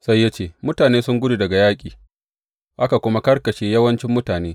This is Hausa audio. Sai ya ce, Mutane sun gudu daga yaƙi, aka kuma karkashe yawancin mutane.